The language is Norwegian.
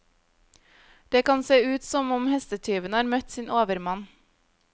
Det kan se ut som om hestetyven har møtt sin overmann.